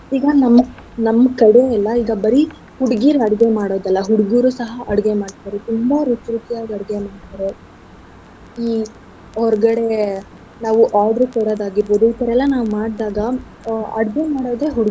ಈಗ ನಮ್ಮ ನಮ್ ಕಡೆ ಎಲ್ಲಾ ಈಗ ಬರೀ ಹುಡ್ಗೀರ್ ಮಾಡೋದಲ್ಲ ಹುಡ್ಗುರು ಸಹ ಅಡ್ಗೆ ಮಾಡ್ತಾರೆ. ತುಂಬಾ ರುಚಿ ರುಚಿಯಾಗ್ ಅಡ್ಗೆ ಮಾಡ್ತಾರೆ. ಈ ಹೊರ್ಗಡೆ ನಾವು order ಕೊಡೋದ್ ಆಗಿರ್ಬೋದು ಇದೆಲ್ಲ ನಾವ್ ಮಾಡ್ದಾಗ ಆ ಅಡ್ಗೆ ಮಾಡೋದು.